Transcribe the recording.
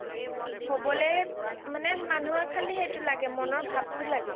হবলে মানুহৰ খালি সেইটো লাগে মনৰ ভাব টো লাগে